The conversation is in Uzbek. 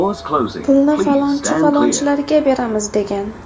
Pulni falonchi, falonchilarga beramiz”, degan.